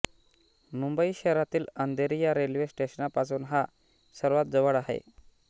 मुंबई शहरातील अंधेरी या रेल्वे स्टेशनपासून हा सर्वात जवळ आहे